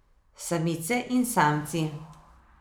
Samice in samci.